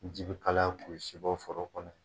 Ji bi kalaya k'u si bɔ foro kɔnɔ ye.